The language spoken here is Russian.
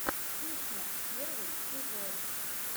кухня первый сезон